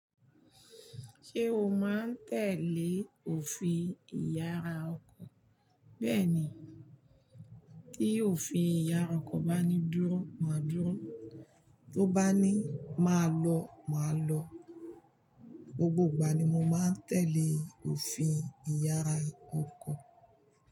Ṣé o máa ń tẹ̀lé òfin ìyára ọkọ̀? Bẹ́ẹ̀ni, tí òfin ìyára ọkọ̀ bá ní dúró, máa dúró, tó bá ní máa lọ, máa lọ. Gbogbo ìgbà ni mo máa ń tẹ̀lé òfin ìyára ọkọ̀.